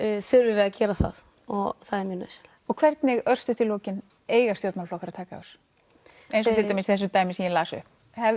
þurfum við að gera það og það er mjög nauðsynlegt og hvernig örstutt í lokin eiga stjórnmálaflokkar að taka á þessu eins og til dæmis í þessu dæmi sem ég las upp